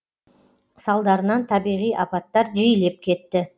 салдарынан табиғи апаттар жиілеп кетті